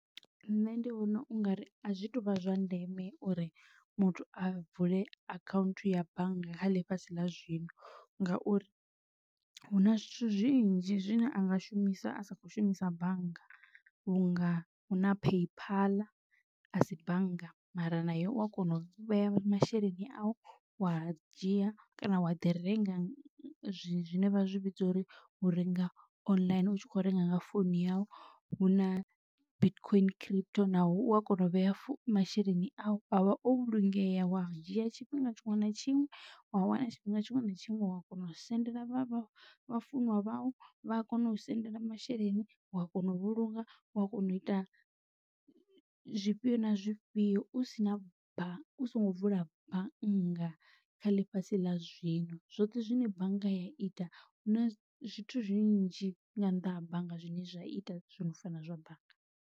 Nṋe ndi vhona ungari azwi tuvha zwa ndeme uri muthu a vule akhaunthu ya bannga kha ḽifhasi ḽa zwino ngauri huna zwithu zwinzhi zwine a nga shumisa a sa kho shumisa bannga vhunga hu na paypal a si bannga mara nayo u a kona u vhea masheleni a u wa dzhia kana wa ḓi renga zwine vha zwi vhidza uri u renga online u tshi kho renga nga phone yau huna bitcoin crypto naho u a kona u vhea masheleni au avha o vhulungeya wa dzhia tshifhinga tshiṅwe na tshiṅwe wa wana tshifhinga tshiṅwe na tshiṅwe wa kona u sendela vha vha vhafunwa vhai vha a kona u sendela masheleni u a kona u vhulunga u a kona u ita zwifhio na zwifhio. U si na bannga u songo vula bannga kha ḽifhasi ḽa zwino zwoṱhe zwine bannga ya ita hu na zwithu zwinzhi nga nnḓa ha bannga zwine zwa ita zwino fana zwa bannga.